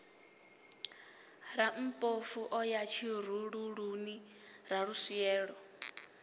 rammpofu o ya tshirululuni raluswielo